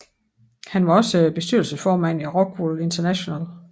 Han var også bestyrelsesformand i Rockwool International